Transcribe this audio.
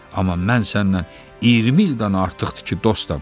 Amma mən sənlə 20 ildən artıqdır ki, dostam.